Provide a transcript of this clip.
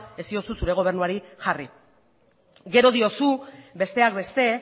ez diozu zure gobernuari jarri gero diozu besteak beste